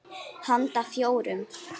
Handa fjórum